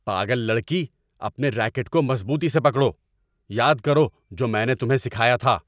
پاگل لڑکی۔ اپنے ریکٹ کو مضبوطی سے پکڑو۔ یاد کرو جو میں نے تمہیں سکھایا تھا۔